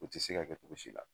O ti se ka kɛ cogo si la